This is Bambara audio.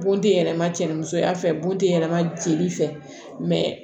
Bɔn tɛ yɛlɛma cɛ musoya fɛ bɔn teyɛrɛma jeli fɛ mɛ